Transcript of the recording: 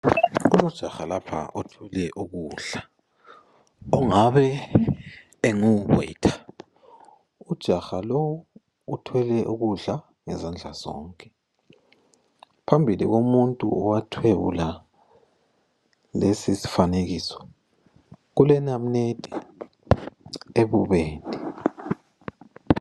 Kulojaha lapha othwele ukudla engabe enguweta, ujaha lowu uthwele ukudla ngezandla zonke phambili komuntu owathwebula lesi sifanekiso kulenyama ebubende.